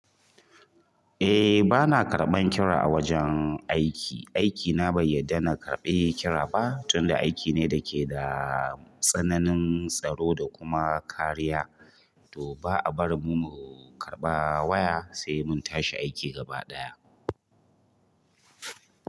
Eh bana karɓan kira a wajen aiki. Aikina bai yarda na karɓe kira ba, tunda aiki ne da ke da tsananin tsaro da kuma kariya, to ba'a barin mu mu karɓa waya sai mun tashi aiki gaba ɗaya.